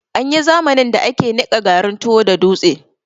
Anyi zamanin da ake niƴa garin tuwo da dutse